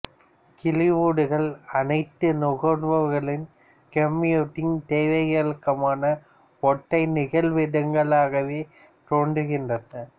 கிளவுடுகள் அனைத்து நுகர்வோர்களின் கம்ப்யூட்டிங் தேவைகளுக்குமான ஒற்றை நிகழ்விடங்களாகவே தோன்றுகின்றன